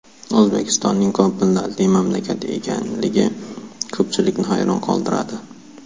O‘zbekistonning ko‘p millatli mamlakat ekanligi ko‘pchilikni hayron qoldiradi.